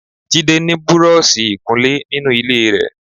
Jide ni búrọ̀ọ̀ṣì ìkunlé ninu ile rẹ.